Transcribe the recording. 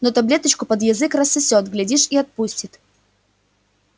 но таблеточку под язык рассосёт глядишь и отпустит